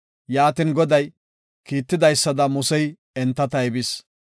Yaatin Goday kiitidaysada Musey enta taybis.